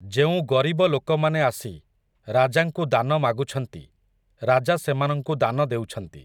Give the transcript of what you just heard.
ଯେଉଁ ଗରିବ ଲୋକମାନେ ଆସି, ରାଜାଙ୍କୁ ଦାନ ମାଗୁଛନ୍ତି, ରାଜା ସେମାନଙ୍କୁ ଦାନ ଦେଉଛନ୍ତି ।